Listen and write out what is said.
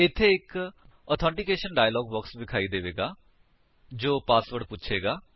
ਇੱਥੇ ਇੱਕ authentication dialog box ਵਿਖਾਈ ਦੇਵੇਗਾ ਜੋ ਪਾਸਵਰਡ ਪੁਛੇਗਾ